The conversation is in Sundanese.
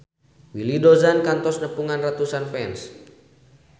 Willy Dozan kantos nepungan ratusan fans